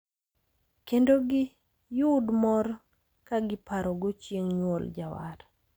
Kendo giyud mor kagiparogo chieng` nyuol jawar.